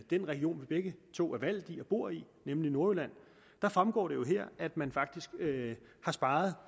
den region vi begge to er valgt i og bor i nemlig nordjylland så fremgår det jo her at man faktisk har sparet